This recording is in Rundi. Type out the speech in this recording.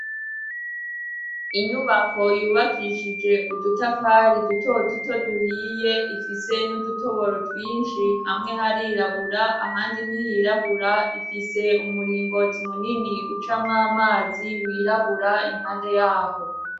inyubako yubakishije udutafari duto duto duhiye ifise n'udutoboro twinshi hamwe harirabura ahandi nt'ihirabura ifise umuringoti munini uca mwamazi wirabura impande yaho